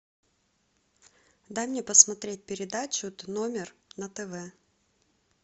дай мне посмотреть передачу тномер на тв